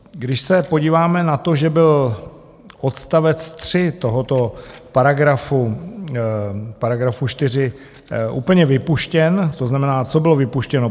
Když se podíváme na to, že byl odstavec 3 tohoto paragrafu 4 úplně vypuštěn, to znamená, co bylo vypuštěno?